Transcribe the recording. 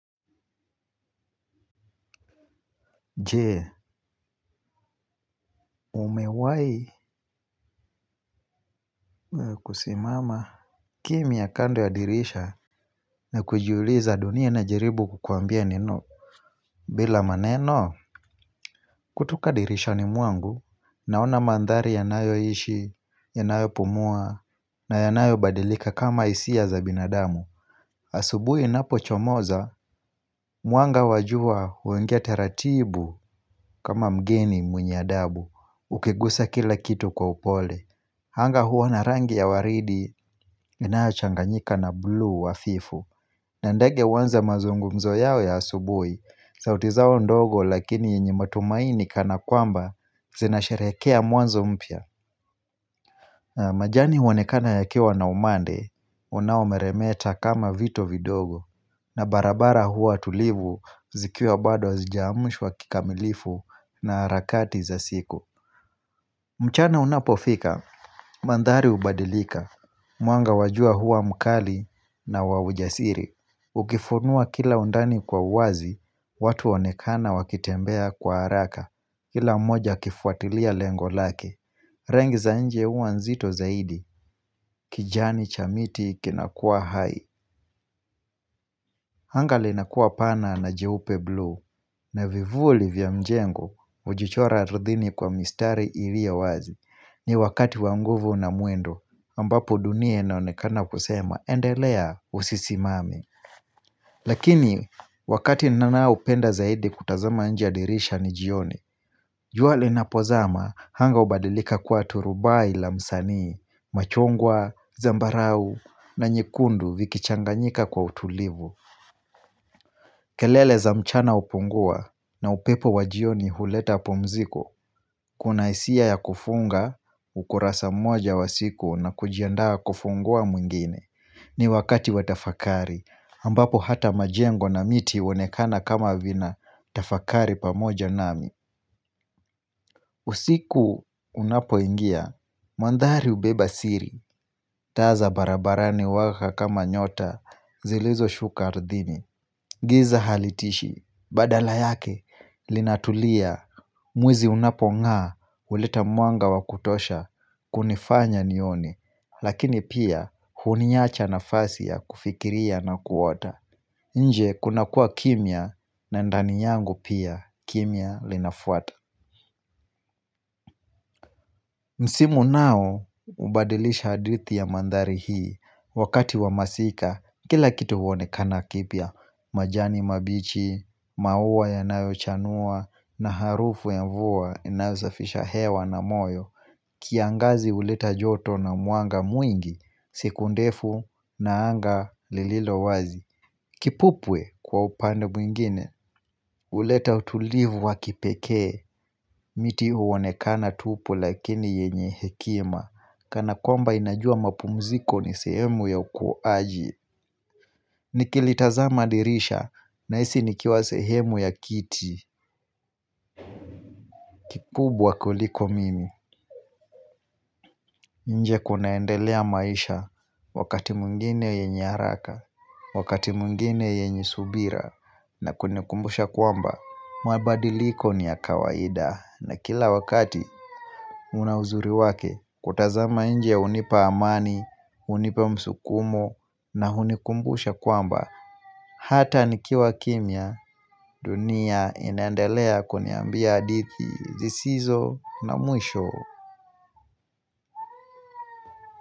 Je, umewai kusimama kimya kando ya dirisha na kujiuliza dunia inajaribu kukuambia neno bila maneno? Kutoka dirishani mwangu naona mandhari yanayo ishi, yanayo pumua na yanayo badilika kama hisia za binadamu Asubui inapochomoza, mwanga wa jua huingia taratibu kama mgeni mwenye adabu Ukigusa kila kitu kwa upole anga huwa na rangi ya waridi inayochanganyika na blu hafifu na ndege waanze mazungumzo yao ya asubui sauti zao ndogo lakini yenye matumaini kana kwamba zinasharekea mwanzo mpya majani huonekana yakiwa na umande unaomeremeta kama vito vidogo na barabara huwa tulivu zikiwa bado hazijaamshwa kikamilifu na harakati za siku. Mchana unapofika mandhari hubadilika mwanga wa jua huwa mkali na wa ujasiri, ukifunua kila undani kwa wazi watu huonekana wakitembea kwa haraka Kila mmoja akifuatilia lengo lake Rangi za nje huwa nzito zaidi kijani cha miti kinakua hai, anga linakua pana na jeupe blue na vivuli vya mjengo hujichora ardhini kwa mistari ilio wazi. Ni wakati wa nguvu na mwendo ambapo dunia inaonekana kusema endelea usisimame Lakini wakati ninaopenda zaidi kutazama nje ya dirisha ni jioni. Jua linapozama anga hubadilika kuwa turubai la msanii, machungwa, zambarau na nyekundu vikichanganyika kwa utulivu kelele za mchana hupungua na upepo wa jioni huleta pumziko Kuna hisia ya kufunga ukurasa mmoja wa siku na kujiandaa kufungua mwingine. Ni wakati wa tafakari, ambapo hata majengo na miti huonekana kama vinatafakari pamoja nami usiku unapoingia, mandhari hubeba siri, taa za barabarani huwaka kama nyota zilizoshuka ardhini Giza halitishi, badala yake, linatulia, mwezi unapong'aa, huleta mwanga wa kutosha, kunifanya nione Lakini pia huniacha nafasi ya kufikiria na kuota inje kunakua kimya na ndani yangu pia kimya linafuata Msimu nao hubadilisha hadithi ya mandhari hii, wakati wa masika kila kitu huonekana kipya majani mabichi, maua yanayochanua na harufu ya mvua inasafisha hewa na moyo kiangazi huleta joto na mwanga mwingi, siku ndefu na anga lililo wazi Kipupwe kwa upande mwingine hleta utulivu wa kipekee. Miti huonekana tupu lakini yenye hekima kana kwamba inajua mapumziko ni sehemu ya ukuaji Nikilitaza dirisha nahisi nikiwa sehemu ya kiti kikubwa kuliko mimi. Nje kunaendelea maisha, wakati mwingine yenye haraka, wakati mwingine yenye subira na kunikumbusha kwamba, mabadiliko ni ya kawaida na kila wakati una uzuri wake. Kutazama nje hunipa amani, hunipa msukumo na hunikumbusha kwamba hata nikiwa kimya, dunia inandelea kuniambia hadithi zisizo na mwisho.